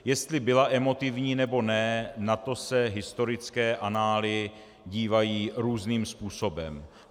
Jestli byla emotivní, nebo ne, na to se historické anály dívají různým způsobem.